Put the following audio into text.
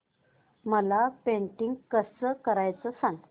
मला पेंटिंग कसं करायचं सांग